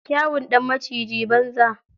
Kyawun ɗan maciji, banza.